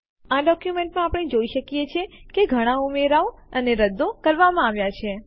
આ ડોક્યુમેન્ટમાં આપણે જોઈ શકીએ છીએ કે ઘણા ઉમેરાઓ અને રદ્દો કરવામાં આવ્યા છે